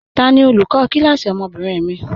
Tani olùkọ kílásí ọmọ́bìnrin mi?